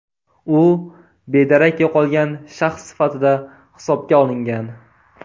U bedarak yo‘qolgan shaxs sifatida hisobga olingan.